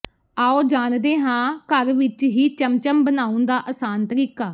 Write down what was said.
ਆਓ ਜਾਣਦੇ ਹਾਂ ਘਰ ਵਿਚ ਹੀ ਚਮਚਮ ਬਣਾਉਣ ਦਾ ਅਸਾਨ ਤਰੀਕਾ